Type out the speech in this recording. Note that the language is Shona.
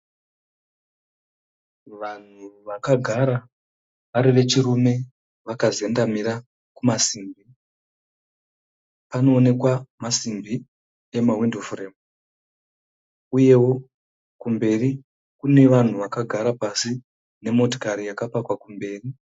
Vanhu vakagara vari vechirume vakazendamira kumasimbi. Panoonekwa masimbi emahwindo furemu. Uyewo kumberi kune vanhu vakagara pasi nemotokari yakapakwa kumberi.